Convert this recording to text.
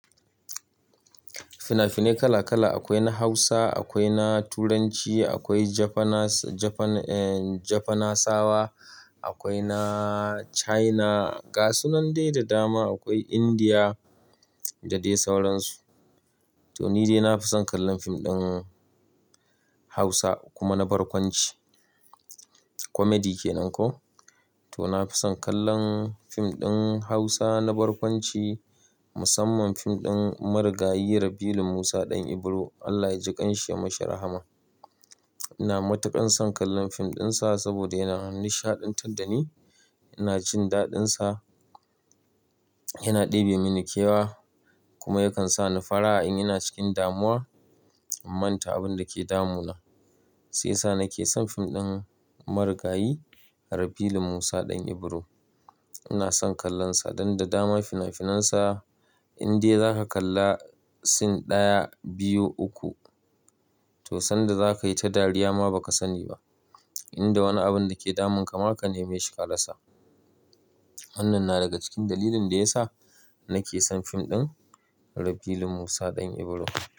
Fina-fine kala kala, akwai na Hausa, akwai na Turanci, akwai Japanas-Japan, eh, Japanasawa, akwai na China, gasu nan dai da dama, akwai Indiya da dai sauransu. To ni dai na fi son kallon fim ɗin Hausa kuma na barkwanci. Comedy ke nan ko. To na fi son kallon fim ɗin Hausa na barkwanci, musamman fim ɗin Marigayi Rabilu musa ɗan Ibro. Allah ya ji ƙan shi ya mashi rahama. Ina matuƙan son kallon fim ɗinsa saboda yana nishaɗantar da ni, ina jin daɗinsa, yana ɗebe mini kewa kuma yakan sa ni fara'a in ina cikin damuwa, in manta abin da ke damuna. Sai sa nake son fim ɗin Marigayi Rabiu Limusa ɗan Ibro. Ina son kallonsa, dan da dama fina-finansa in dai za ka kalla sin ɗaya, biyu, uku to sanda za ka yi ta dariya ma ba ka sani ba. In da wani abun da ke damun ka ma ka neme shi karasa. Wannan na daga cikin dalilin da ya sa nake son fim ɗin Rabiu Limusa ɗan Ibro.